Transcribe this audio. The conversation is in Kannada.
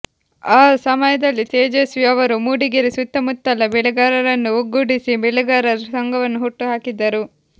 ಆ ಸಮಯದಲ್ಲಿ ತೇಜಸ್ವಿ ಅವರು ಮೂಡಿಗೆರೆ ಸುತ್ತಮುತ್ತಲ ಬೆಳೆಗಾರರನ್ನು ಒಗ್ಗೂಡಿಸಿ ಬೆಳೆಗಾರರ ಸಂಘವನ್ನು ಹುಟ್ಟು ಹಾಕಿದರು